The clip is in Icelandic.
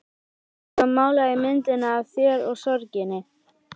Og svo mála ég myndina af þér og sorginni.